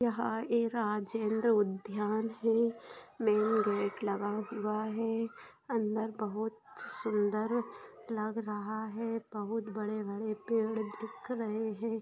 यहाँ ये राजेंद्र उद्यान है मेन गेट लगा हुआ है अंदर बहुत सुंदर लग रहा है बहुत बड़े-बड़े पेड़ दिख रहे हैं।